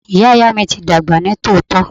Ìyá Ìyá mi ti dàgbà ní tòótọ́.